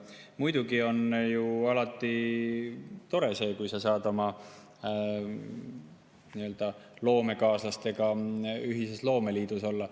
Muidugi on ju alati tore see, kui sa saad oma loomekaaslastega ühises loomeliidus olla.